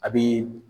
A bi